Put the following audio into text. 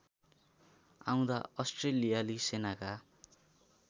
आउँदा अस्ट्रेलियाली सेनाका